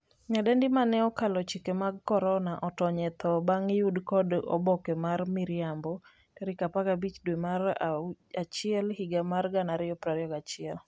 nyadendi mane 'okalo chike mag korona' otony e tho bang' yude kod oboke mar miriambo tarik 15 dwe mar achiel higa mar 2021